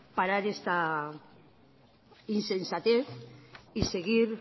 parar esta insensatez y seguir